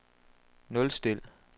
nulstil